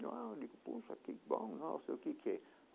Eu ah digo, puxa, que bom, nossa, o que que é?